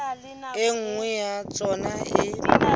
e nngwe ya tsona e